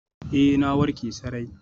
Ee, na warke sarai.